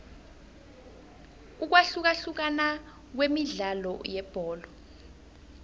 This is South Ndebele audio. ukwahlukahlukana kwemidlalo yebholo